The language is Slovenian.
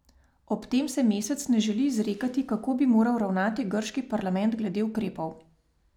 Ob tem se Mesec ne želi izrekati, kako bi moral ravnati grški parlament glede ukrepov.